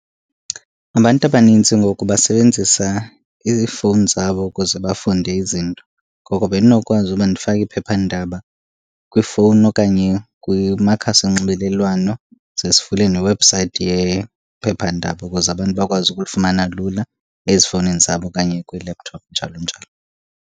Abantu abanintsi ngoku basebenzisa iifowuni zabo ukuze bafunde izinto, ngoko bendinokwazi uba ndifake iphephandaba kwifowuni okanye kumakhasi onxibelelwano. Ze sivule newebhusayithi yephephandaba ukuze abantu bakwazi ukulifumana lula ezifowunini zabo okanye kwii-laptop njalo njalo.